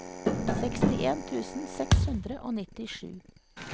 sekstien tusen seks hundre og nittisju